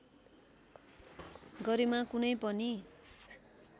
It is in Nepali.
गरिमा कुनै पनि